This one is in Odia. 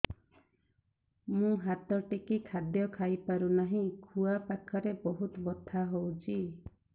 ମୁ ହାତ ଟେକି ଖାଦ୍ୟ ଖାଇପାରୁନାହିଁ ଖୁଆ ପାଖରେ ବହୁତ ବଥା ହଉଚି